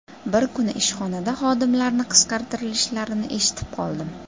Bir kuni ishxonada xodimlarni qisqartirishlarini eshitib qoldim.